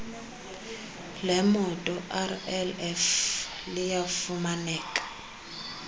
lemoto rlf liyafumaneka